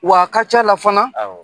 W'a ka ca la fana